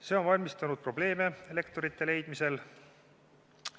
See on valmistanud probleeme lektorite leidmisel.